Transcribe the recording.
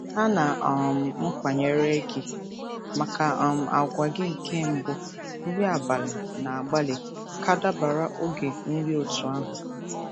A na um m akwanyere gi maka um àgwà gị nke mbụ nri abalị na-agbalị ka dabara oge nri otú ahụ.